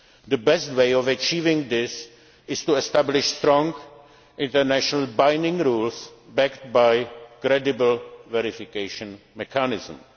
purposes. The best way of achieving this is to establish strong, internationally binding rules, backed by credible verification